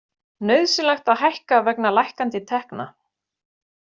Nauðsynlegt að hækka vegna lækkandi tekna